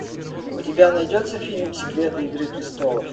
у тебя найдется фильм секреты игры престолов